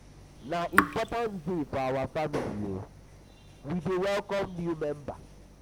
na important day for our family we dey welcome new member.